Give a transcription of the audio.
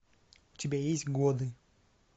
у тебя есть годы